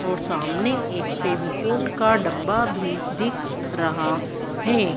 और सामने एक फेविकोल का डब्बा भी दिख रहा है।